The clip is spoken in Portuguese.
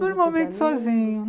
Normalmente sozinho.